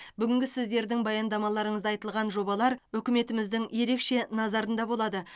бүгінгі сіздердің баяндамаларыңызда айтылған жобалар үкіметіміздің ерекше назарында болады